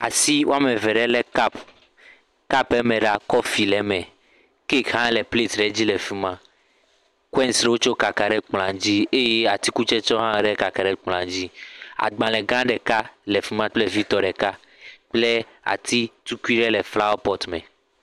Nyɔnu aɖewo bɔbɔ nɔ aynyi ɖe asime. Woɖo woƒe agbawo ɖe agbe me le anyigbã. Kotokua le wogbɔ. Amea ɖewo tsi atsi tre, aɖewo kpa vi ɖe dzime. Ame ɖeka bɔbɔ ɖe asi gbaa gbɔ